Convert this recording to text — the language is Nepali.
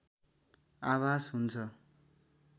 आभास हुन्छ